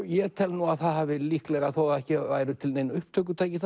ég tel nú að það hafi líklega þó það hafi ekki verið til nein upptökutæki